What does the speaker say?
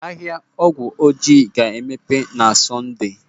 Ahịa Nkwọ Ọjị ga-emepe n'ụbọchị Sọnde.